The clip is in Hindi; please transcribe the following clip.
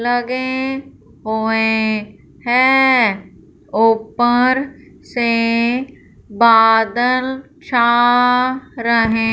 लगे हुए हैं ऊपर से बादल छा रहे--